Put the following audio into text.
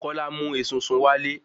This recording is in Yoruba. kólá mu esunsun wálé